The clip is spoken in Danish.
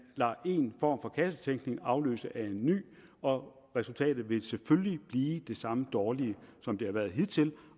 lader en form for kassetænkning afløse af en ny og resultatet vil selvfølgelig blive det samme dårlige som det har været hidtil